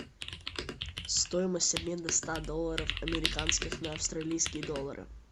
стоимость обмена ста долларов американских на австралийские доллары